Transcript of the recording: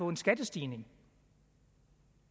en skattestigning